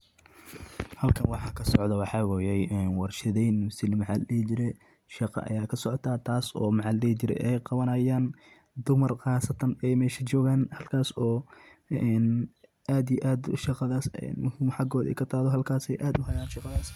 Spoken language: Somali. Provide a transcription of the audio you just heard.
Dhaqashada duqsiga waa farsamo casri ah oo faa’iido badan leh, iyadoo duqsigu yahay xayawaan yar oo si tartiib ah u dhaqaaqo, kana mid ah noocyada noolaha ee qiimaha leh ee laga isticmaalo dhinacyo badan sida cunto, daawo, iyo qurxinta.